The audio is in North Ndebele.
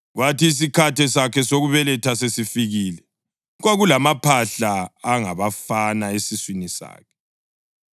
Kwathi isikhathi sakhe sokubeletha sesifikile, kwakulamaphahla angabafana esiswini sakhe.